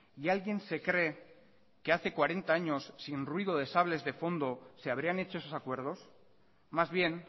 y alguien se cree que hace cuarenta años sin ruido de sables de fondo se habrían hecho esos acuerdos más bien